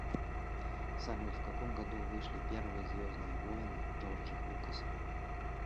салют в каком году вышли первые звездные воины джорджа лукаса